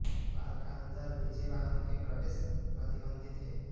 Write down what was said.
park का अंदर निजी वाहनों के प्रवेश प्रतिबंधित है